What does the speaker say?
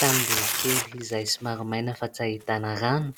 Tanimboly kely izay somary maina fa tsy ahitana rano,